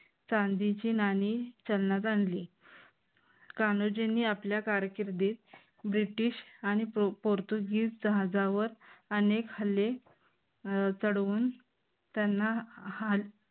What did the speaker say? चांदीची नाणी चलनात आणली. कान्होजींनी आपल्या कारकिर्दीत ब्रिटिश आणि पोर्तुगीज जहाजावर अनेक हल्ले चढवून त्यांना